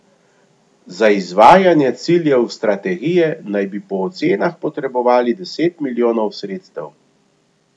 Za izvajanje ciljev strategije naj bi po ocenah potrebovali deset milijonov sredstev.